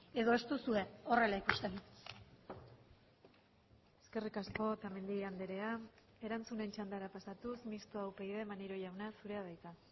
edo ez duzue horrela ikusten eskerrik asko otamendi andrea erantzunen txandara pasatuz mistoa upyd maneiro jauna zurea da hitza